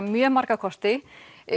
mjög marga kosti